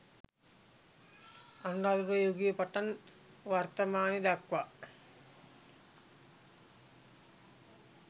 අනුරාධපුර යුගයේ පටන් වර්තමානය දක්වා